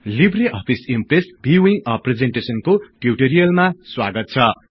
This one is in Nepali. Libre Office Impress viewing a प्रिजेन्टेसनको टिउटिरियलमा स्वागत छ